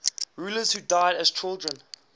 rulers who died as children